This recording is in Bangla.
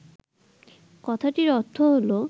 কথাটির অর্থ হল